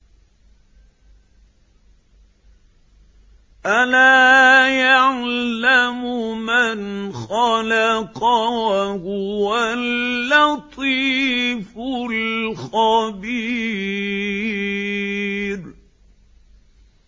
أَلَا يَعْلَمُ مَنْ خَلَقَ وَهُوَ اللَّطِيفُ الْخَبِيرُ